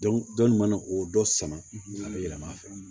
dɔni mana o dɔ sama a bɛ yɛlɛma a fɛ